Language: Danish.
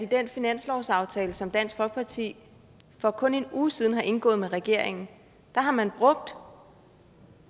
at i den finanslovsaftale som dansk folkeparti for kun en uge siden har indgået med regeringen har man brugt